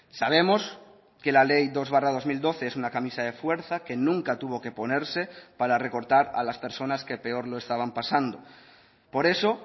sabemos que la ley dos barra dos mil doce es una camisa de fuerza que nunca tuvo que ponerse para recortar a las personas que peor lo estaban pasando por eso